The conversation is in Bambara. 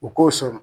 U k'o sɔrɔ